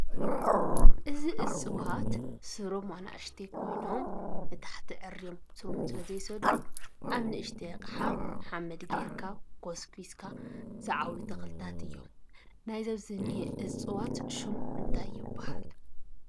እዚ እፅዋት ስሮም ኣናእሽተይ ኮይኖም ንታሕት ኣዕርዮም ስር ስለ ዘይሰዱ ኣብ ንኡሽተይ ኣቅሓ ሓመድ ገይርካ ኮስኪስካ ዝዓብዩ ተኽሊታት እዮም፡፡ ናይዚ ኣብዚ እኒU እፅዋት እንታይ ይብሃል ፡፡